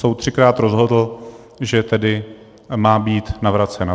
Soud třikrát rozhodl, že tedy má být navrácen.